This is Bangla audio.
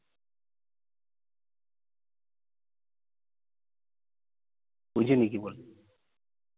বুঝি নি কি বললে।